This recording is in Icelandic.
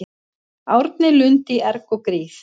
Árni Lund í erg og gríð